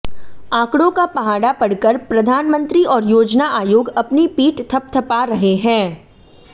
आंकडों का पहाड़ा पढकर प्रधानमंत्री और योजना आयोग अपनी पीठ थपथपा रहे हैं